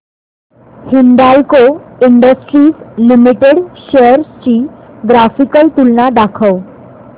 Hindalco industries limited shares ची graphical तुलना दाखव